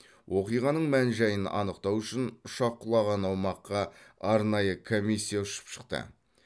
оқиғаның мән жайын анықтау үшін ұшақ құлаған аумаққа арнайы комиссия ұшып шықты